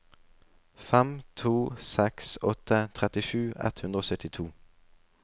fem to seks åtte trettisju ett hundre og syttito